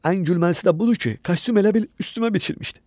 Ən gülməlisi də budur ki, kostyum elə bil üstümə biçilmişdi.